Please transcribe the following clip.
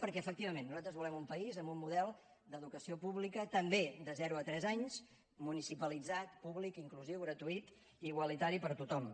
perquè efectivament nosaltres volem un país amb un model d’educació pública també de zero a tres anys municipalitzat públic inclusiu gratuït i igualitari per tothom